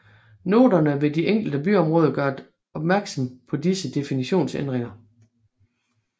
Noterne ved de enkelte byområder gør opmærksom på disse definitionsændringer